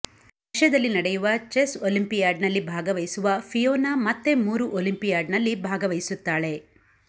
ರಶ್ಯದಲ್ಲಿ ನಡೆಯುವ ಚೆಸ್ ಒಲಿಂಪಿಯಾಡ್ನಲ್ಲಿ ಭಾಗವಹಿಸುವ ಫಿಯೋನಾ ಮತ್ತೆ ಮೂರು ಒಲಿಂಪಿಯಾಡ್ನಲ್ಲಿ ಭಾಗವಹಿಸುತ್ತಾಳೆ